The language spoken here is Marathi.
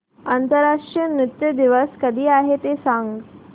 आंतरराष्ट्रीय नृत्य दिवस कधी आहे ते सांग